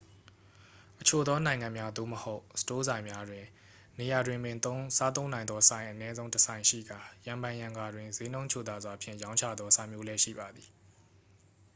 အချို့သောနိုင်ငံများ သို့မဟုတ် စတိုးဆိုင်များတွင် နေရာတွင်ပင်စားသုံးနိုင်သောဆိုင် အနည်းဆုံးတစ်ဆိုင်ရှိကာ ရံဖန်ရံခါတွင် စျေးနှုန်းချိုသာစွာဖြင့်ရောင်းချသောဆိုင်မျိုးလည်း ရှိပါသည်